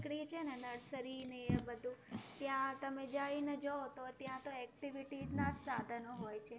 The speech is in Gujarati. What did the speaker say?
નીકળી છે ને nursery ને એ બધું, ત્યાં તમે જઈને જોવો તો ત્યાં તો activity ના જ સાધનો હોય છે.